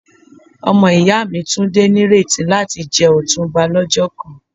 Omo iya mi Tunde n nireti lati je Otunba lojo kan.